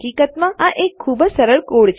તો હકીકતમાં આ એક ખુબજ સરળ કોડ છે